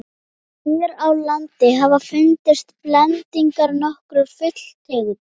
hér á landi hafa fundist blendingar nokkurra fuglategunda